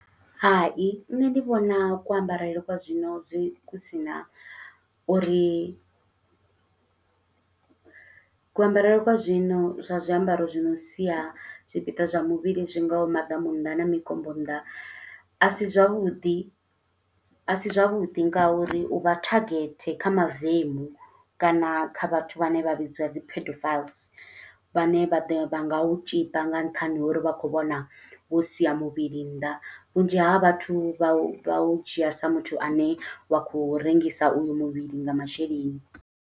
Hai, nṋe ndi vhona ku ambarele kwa zwino zwi kusina uri, kuambarele kwa zwino zwa zwiambaro zwi no sia zwipiḓa zwa muvhili zwi ngaho maḓamu nnḓa, na mikombo nnḓa. A si zwavhuḓi, a si zwavhuḓi nga uri u vha thagethe kha mavemu, kana kha vhathu vhane vha vhidziwa dzi pedophiles. Vhane vha ḓo, vha nga u tshipa nga nṱhani ho uri vha khou vhona, wo sia muvhili nnḓa. Vhunzhi ha vhathu vha vha u dzhia sa muthu ane wa khou rengisa uyu muvhili nga masheleni.